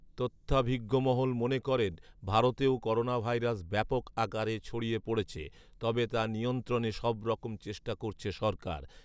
তথ্যাভিজ্ঞমহল মনে করেন ভারতেও করোনাভাইরাস ব্যাপক আকারে ছড়িয়ে পড়েছে। তবে তা নিয়ন্ত্রণে সব রকম চেষ্টা করছে সরকার।